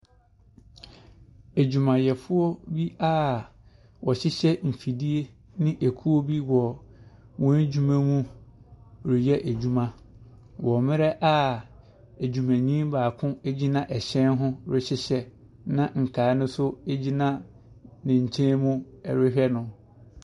Awumayɛfoɔ bi a wɔhyehyɛ mfidie ne akuo bi wɔn adwuma mu reyɛ adwuma wɔ mmerɛ awumani baako gyina ɛhyɛn ho rehyehyɛ na nkaa no nso gyina ne nkyenmu rehwɛ no.